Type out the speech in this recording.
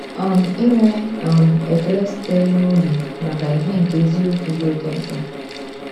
um Inwe um ekele sitere n’obi maka ìhè nke eziokwu dị oké mkpa.